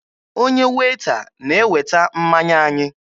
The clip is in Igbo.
Onye Weeta na-eweta mmanya anyị.